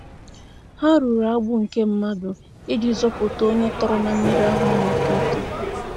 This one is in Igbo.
Ha rụrụ agbụ nke mmadụ iji zọpụta onye tọrọ na mmiri ahụ na mmiri ahụ na-eto eto.